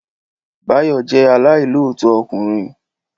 Báyọ̀ jẹ́ aláìilootọ ọkùnrin